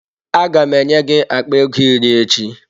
Aga m enye gị akpa ego iri echi.